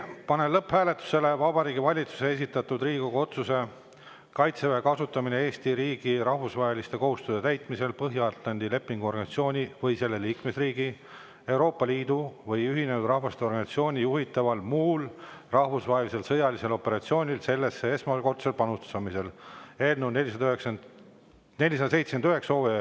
Panen lõpphääletusele Vabariigi Valitsuse esitatud Riigikogu otsuse "Kaitseväe kasutamine Eesti riigi rahvusvaheliste kohustuste täitmisel Põhja-Atlandi Lepingu Organisatsiooni või selle liikmesriigi, Euroopa Liidu või Ühinenud Rahvaste Organisatsiooni juhitaval muul rahvusvahelisel sõjalisel operatsioonil sellesse esmakordsel panustamisel" eelnõu 479.